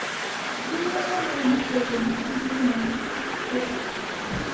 Ihe Ehud chere bụ iji mma ya.